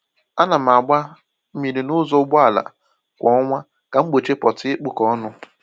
A na m agba mmiri n’ụzọ ụgbọala kwa ọnwa ka m gbochie pọtị ịkpụkọ ọnụ